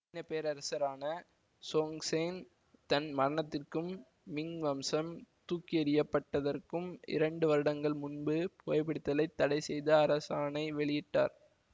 சீனப்பேரரசரான Chongzhen தன் மரணத்திற்கும் Ming வம்சம் தூக்கியெறியப்பட்டதற்கும் இரண்டு வருடங்கள் முன்பு புகைப்பிடித்தலைத் தடை செய்து அரசாணை வெளியிட்டார்